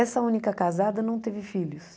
Essa única casada não teve filhos.